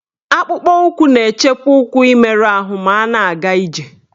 Akpụkpọụkwụ na-echekwa ụkwụ imerụ arụ ma a na-aga ije